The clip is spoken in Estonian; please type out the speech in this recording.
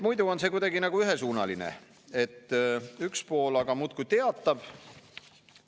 Muidu on see kuidagi nagu ühesuunaline, et üks pool aga muudkui teatab.